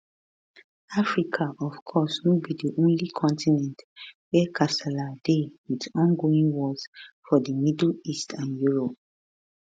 africa of course no be di only continent wia kasala dey wit ongoing wars for di middle east and europe